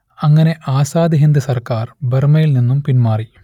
അങ്ങനെ ആസാദ് ഹിന്ദ് സർക്കാർ ബർമ്മയിൽ നിന്നും പിന്മാറി